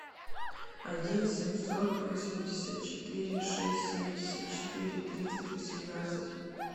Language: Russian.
один семьсот восемьдесят четыре шесть семьдесят четыре тридцать восемнадцать